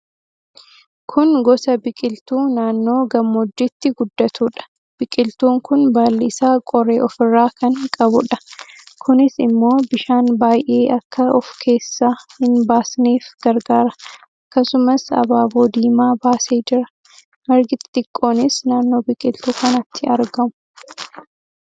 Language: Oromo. Kun gosa biqiltuu naannoo gammoojjiitti guddatuudha. Biqiltuun kun baalli isaa qoree ofirraa kan qabuudha. Kunis immoo bishaan baay'ee akka of keessaa hin baasneef gargaara. Akkasumas abaaboo diimaa baasee jira. Margi xixiqqoonis naannoo biqiltuu kanaatti argamu.